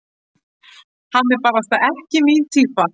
Hann er barasta ekki mín týpa.